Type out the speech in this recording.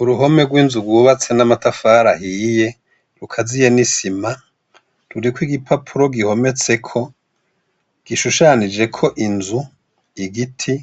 Uruhome rw’inzu rwubatse n’amatafari ahiye, rukaziye n’isima, rurikw’igipapuro gihometseko, gishushanijeko Inzu, igiti,